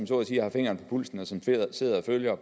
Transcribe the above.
så at sige har fingeren på pulsen og som sidder og følger